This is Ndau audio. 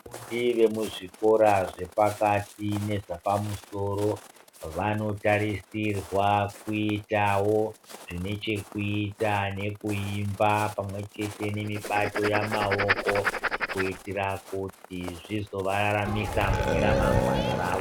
Ndombi dzemuzvikora zvepakati nezvapamusoso vanotarisirwa kuitavo zvinechekuita nekuimba pamwechete nemibato yamaoko. Kuitira kuti zvizo vararamisa mune ramangwana ravo.